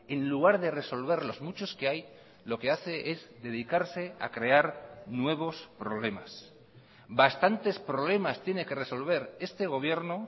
en lugar de resolver los muchos que hay lo que hace es dedicarse a crear nuevos problemas bastantes problemas tiene que resolver este gobierno